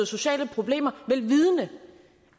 sociale problemer vel vidende